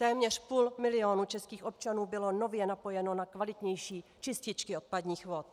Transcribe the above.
Téměř půl milionu českých občanů bylo nově napojeno na kvalitnější čističky odpadních vod.